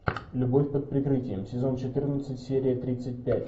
любовь под прикрытием сезон четырнадцать серия тридцать пять